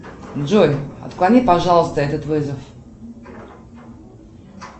джой отклони пожалуйста этот вызов